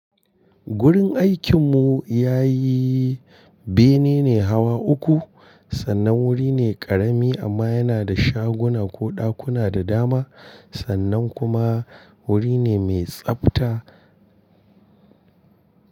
Gurin aikinmu ya yi bene ne hawa uku. Sannan wuri ne ƙarami amma yana da shaguna ko ɗakuna da dama. Sannan kuma wuri ne mai tsabta.